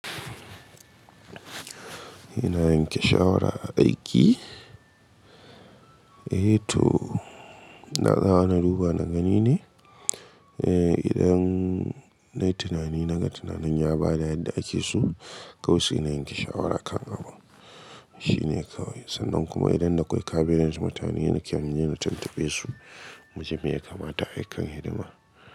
Ina yanke shawara a aiki, eh to ina tsayawa na duba na gani ne eh idan nayi tunani naga tunanin ya bada yadda ake so, kawai sai na yanke shawara kan abun. Shi ne kawai sannan kuma idan da kwai cabinet mutane na kan iya na tuntubesu, muji me ya kamata a yi kan hidima.